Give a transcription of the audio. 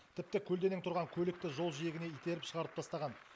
тіпті көлденең тұрған көлікті жол жиегіне итеріп шығарып тастаған